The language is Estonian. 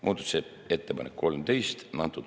Muudatusettepanek nr 13.